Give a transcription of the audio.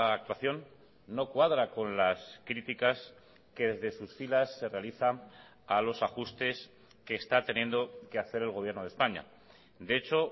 actuación no cuadra con las criticas que desde sus filas se realizan a los ajustes que está teniendo que hacer el gobierno de españa de hecho